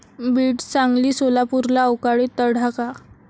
बीड, सांगली, सोलापूरला अवकाळी तडाखा